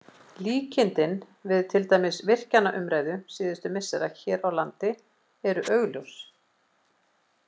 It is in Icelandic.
Líkindin við til dæmis virkjanaumræðu síðustu missera hér á landi eru augljós.